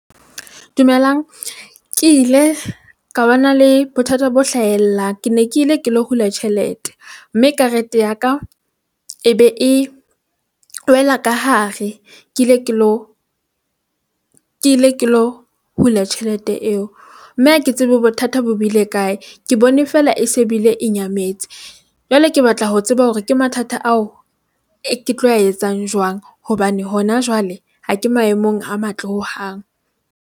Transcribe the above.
Dumelang, ke ile ka bana le bothata bo hlahella. Ke ne ke ile ke lo hula tjhelete mme karete ya ka e be e wela ka hare ke ile ke lo, ke ile ke lo hula tjhelete eo mme ha ke tsebe bothata bo bile kae, ke bone fela e se bile e nyametse. Jwale ke batla ho tseba hore ke mathata ao ke tlo a etsang jwang hobane hona jwale ha ke maemong a matle hohang.